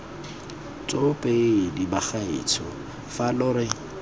tsoopedi bagaetsho fa lo re